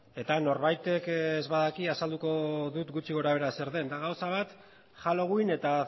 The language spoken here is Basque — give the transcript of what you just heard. eta norbaitek ez badaki azalduko dut gutxi gorabehera zer den da gauza bat halloween eta